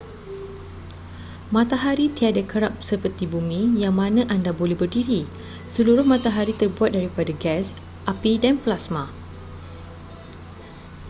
matahari tiada kerak seperti bumi yang mana anda boleh berdiri seluruh matahari terbuat daripada gas api dan plasma